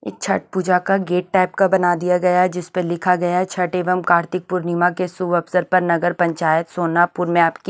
ये छठ पूजा का gate type का बना दिया गया है जिस पे लिखा गया है छठ एवं कार्तिक पूर्णिमा के शुभ अवसर पर नगर पंचायत सोनापुर में आपकी--